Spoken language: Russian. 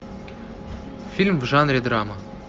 фильм в жанре драма